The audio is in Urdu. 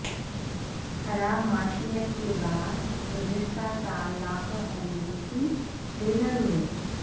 خراب معیشت کےباعث گذشتہ سال لاکھوں امریکی بے گھر ہوئے